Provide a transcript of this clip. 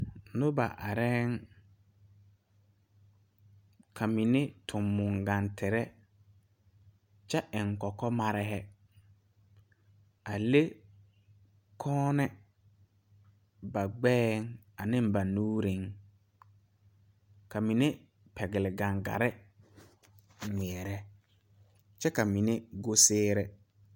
Noba arɛɛ la ka ba mine su kaayaa kyɛ eŋ kɔkɔlɛɛ. Ba le la kyiimɛ ba gbɛɛ pʋɔ ane ba nuureŋ kyɛ ka ba mine pɛgle gaŋgare gmɛɛrɛ kyɛ ka ba mine go siire.